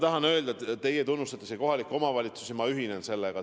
Teie avaldasite siin tunnustust kohalikele omavalitsustele ja ma ühinen sellega.